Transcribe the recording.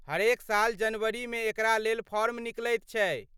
हरेक साल जनवरीमे एकरा लेल फॉर्म निकलैत छै।